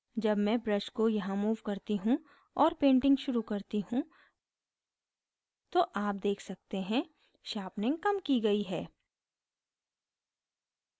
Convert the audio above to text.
जब मैं brush को यहाँ move करती हूँ और painting शुरू करती हूँ तो आप देख सकते हैं sharpening कम की गयी है